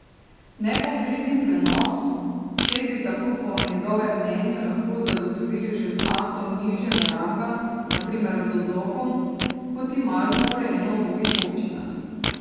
Neposredni prenos sej bi tako po njegovem mnenju lahko zagotovili že z aktom nižjega ranga, na primer z odlokom, kot imajo to urejeno v drugih občinah.